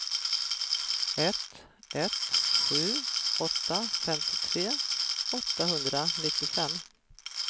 ett ett sju åtta femtiotre åttahundranittiofem